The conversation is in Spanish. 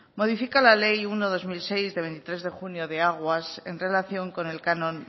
modifica la ley uno barra dos mil seis de veintitrés de junio de aguas en relación con el canon